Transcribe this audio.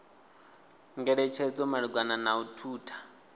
ngeletshedzo malugana na u thutha